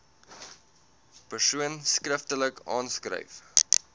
persoon skriftelik aanskryf